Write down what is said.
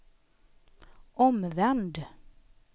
omvänd